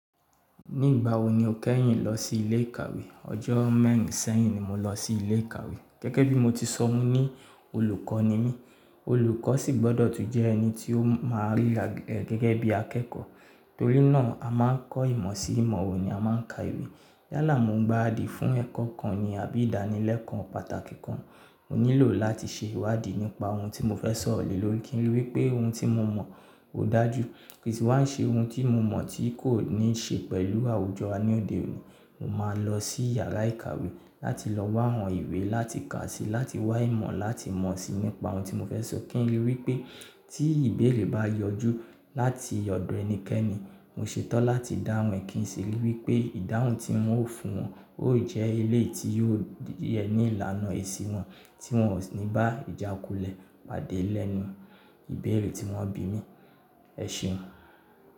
Nígbà wo ni o kẹ́yìn lọ sí ilé ìkàwé? Ọjọ́ mẹ́rin sẹ́yìn ni mo lọ sí ilé ìkàwé. Gẹ́gẹ́ bí mo ti sọ ọ́ ní olùkọ́ ni mí, olùkọ́ sì gbọ́dọ̀ tún jẹ ẹni tí ó máa rí gẹ́gẹ́ bí akẹ́kọ̀ọ́. Torí náà, a máa ń kọ́ ìmọ̀ sí ìmọ̀ wo ni a máa ń ka ìwé. Lálàá mo bá di fún ẹ̀kọ́ kan ni àbí ìdánilẹ́kọ̀ọ́ pàtàkì kan, mo nílò láti ṣe ìwádìí nípa ohun tí mo fẹ́ s'ọ̀rọ̀ lé lórí kí n rí wí pé ohun tí mo mọ̀ ò dájù. Kì wàá ṣe ohun tí mo mọ̀ tí kò ní ṣe pẹ̀lú àwùjọ a ní òde òní, mo máa lọ sí yàrá ìkàwé láti lọ wá àwọn ìwé láti ka síi, láti wá ìmọ̀ láti mọ̀ síi nípa ohun tí mo fẹ́ sọ kí n rí i wí pé tí ìbéèrè bá yọjú láti yọ̀dò ẹnikẹ́ni, mo ṣetán láti dáhùn ẹ kí n sì rí i wí pé ìdáhùn tí mo fún wọn ó jẹ́ ilé tí yóò yẹ ní ìlànà èsì wọn tí wọn ò ní bá ìjákulẹ̀ pàdé lẹ́nu ìbéèrè tí wọ́n bí mi. Ẹṣeun.